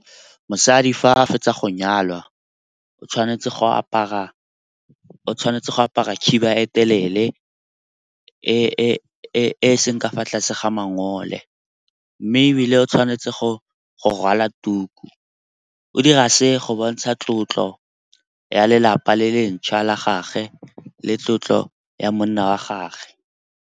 Mosadi fa a fetsa go nyalwa o tshwanetse go apara khiba e telele e seng ka fa tlase ga mangole. Mme ebile o tshwanetse go rwala tuku, o dira se go bontsha tlotlo ya lelapa le le ntšhwa la gagwe le tlotlo ya monna wa gagwe.